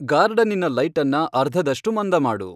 ಗಾರ್ಡನ್ನಿನ ಲೈಟನ್ನ ಅರ್ಧದಷ್ಟು ಮಂದ ಮಾಡು